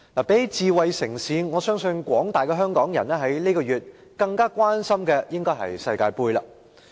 與智慧城市相比，我相信廣大香港市民在這個月更關心的應該是世界盃。